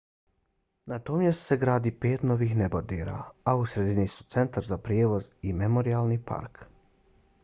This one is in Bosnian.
na tom mjestu se gradi pet novih nebodera a u sredini su centar za prijevoz i memorijalni park